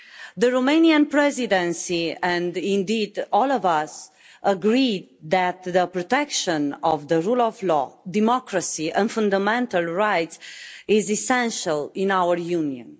The Romanian Presidency, and indeed all of us, agree that the protection of the rule of law, democracy and fundamental rights is essential in our Union.